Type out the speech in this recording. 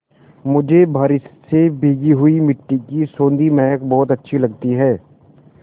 मुझे बारिश से भीगी मिट्टी की सौंधी महक बहुत अच्छी लगती है